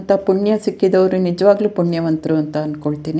ಅಂತ ಪುಣ್ಯ ಸಿಕ್ಕಿದವ್ರು ನಿಜವಾಗ್ಲೂ ಪುಣ್ಯವಂತ್ರುಂತ ಅನ್ಕೊಳ್ತ್ತೀನಿ.